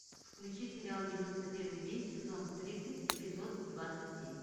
включи сериал девяносто первый день сезон тридцать эпизод двадцать семь